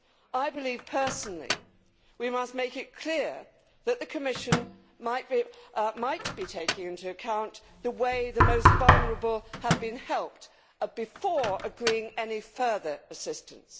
I believe personally that we must make it clear that the Commission might take into account the way the most vulnerable have been helped, before agreeing any further assistance.